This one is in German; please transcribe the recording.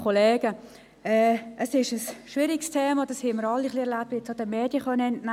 Dies ist ein schwieriges Thema, wie wir alle auch den Medien entnehmen konnten.